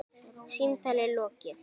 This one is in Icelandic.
Símtali lokið.